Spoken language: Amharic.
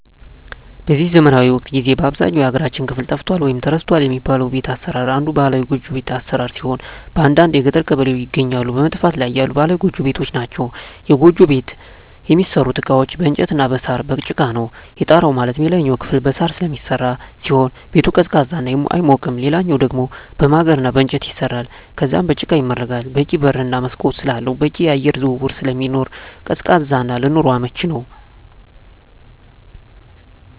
በዚህ ዘመናዊ ወቅት ጊዜ በአብዛኛው የሀገራችን ክፍል ጠፍቷል ወይም ተረስቷል የሚባለው የቤት አሰራር አንዱ ባህላዊ ጎጆ ቤት አሰራር ሲሆን በአንዳንድ የገጠር ቀበሌዎች ይገኛሉ በመጥፋት ላይ ያሉ ባህላዊ ጎጆ ቤቶች ናቸዉ። የጎጆ ቤት የሚሠሩበት እቃዎች በእንጨት እና በሳር፣ በጭቃ ነው። የጣራው ማለትም የላይኛው ክፍል በሳር ስለሚሰራ ሲሆን ቤቱ ቀዝቃዛ ነው አይሞቅም ሌላኛው ደሞ በማገር እና በእንጨት ይሰራል ከዛም በጭቃ ይመረጋል በቂ በር እና መስኮት ስላለው በቂ የአየር ዝውውር ስለሚኖር ቀዝቃዛ እና ለኑሮ አመቺ ነው።